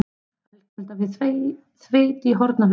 Ölkelda við Þveit í Hornafirði